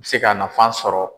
I bɛ se ka nafan sɔrɔ.